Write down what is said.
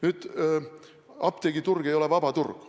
Nüüd, apteegiturg ei ole vaba turg?